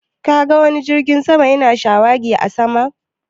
Ka ga wani jirgin sama ya na shawagi a sama?